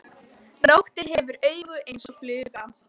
Nóttin hefur augu eins og fluga.